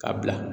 Ka bila